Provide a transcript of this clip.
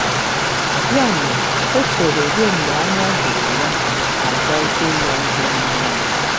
Ya mere, o cheere ruo mgbe anya doro ya, ma gwazie ya ihe merenụ.